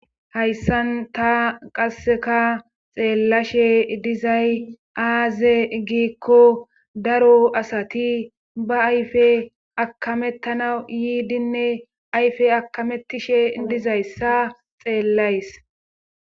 Hayssan ta qasseka xeellashe dizay aaze giikko daro asati ba ayfe akamettana yiidinne ayfe akamettishe dizayssa xeellays.